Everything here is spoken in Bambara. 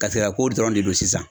garisɛgɛko dɔrɔn de don sisan.